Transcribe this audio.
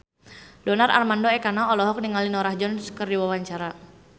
Donar Armando Ekana olohok ningali Norah Jones keur diwawancara